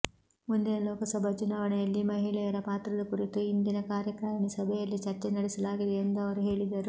ಮುಂದಿನ ಲೋಕಸಭಾ ಚುನಾವಣೆಯಲ್ಲಿ ಮಹಿಳೆಯರ ಪಾತ್ರದ ಕುರಿತು ಇಂದಿನ ಕಾರ್ಯಕಾರಿಣಿ ಸಭೆಯಲ್ಲಿ ಚರ್ಚೆ ನಡೆಸಲಾಗಿದೆ ಎಂದು ಅವರು ಹೇಳಿದರು